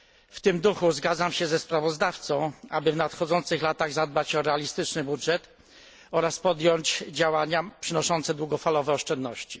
W tym duchu zgadzam się ze sprawozdawcą, aby w nadchodzących latach zadbać o realistyczny budżet oraz podjąć działania przynoszące długofalowe oszczędności.